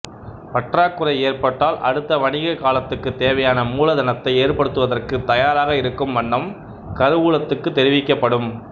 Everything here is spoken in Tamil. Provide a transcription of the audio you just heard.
பற்றாக்குறை ஏற்பட்டால் அடுத்த வணிக காலத்துக்குத் தேவையான மூலதனத்தை ஏற்படுத்துவதற்குத் தயாராக இருக்கும் வண்ணம் கருவூலத்துக்குத் தெரிவிக்கப்படும்